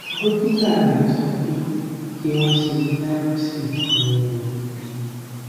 dókítà rẹ ń so pé kí wọn ṣe biopsy fun un